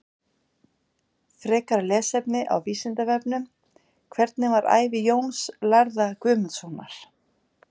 Frekara lesefni á Vísindavefnum: Hvernig var ævi Jóns lærða Guðmundssonar?